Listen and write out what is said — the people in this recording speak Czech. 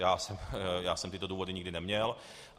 Já jsem tyto důvody nikdy neměl.